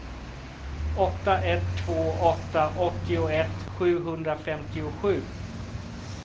åtta ett två åtta åttioett sjuhundrafemtiosju